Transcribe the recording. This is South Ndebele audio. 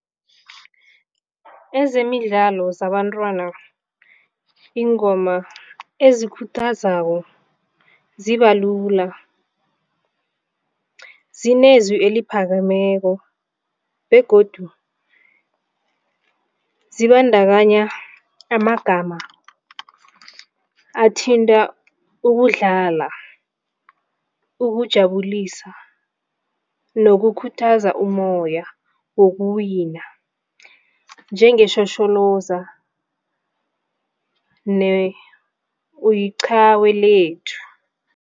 Ezemidlalo zabantwana ingoma ezikhuthazako zibalula, zinezwi eliphakemeko begodu khulu zibandakanya amagama athinta ukudlala, ukujabulisa nokukhuthaza umoya wokuwina njengeshosholoza ne-uyiqhawe lethu.